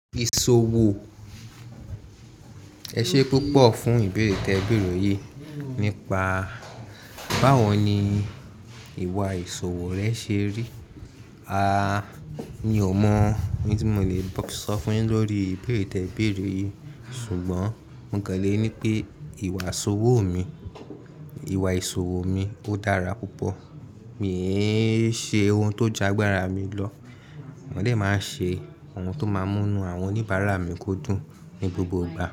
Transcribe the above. Ìṣòwò. Ẹ ṣe púpọ̀ fún ìbéèrè tẹ béèrè yìí. Nípa báwo ni ìwà ìṣòwò rẹ ṣe rí? A, mi ò mọ ohun tí mo lè sọ fún ẹ lórí ìbéèrè tẹ béèrè yìí. Ṣùgbọ́n mo lè ní pé ìwà ìṣòwò mi, ìwà ìṣòwò mi ó dára púpọ̀. Mi ò ṣe ohun tó jagbára mi lọ. Mo dé máa ṣe ohun tó máa múnú àwọn oníbàárà mi kó dùn ní gbogbo ìgbà.